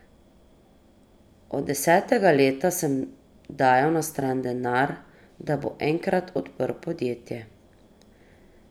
Od desetega leta sem dajal na stran denar, da bom enkrat odprl podjetje.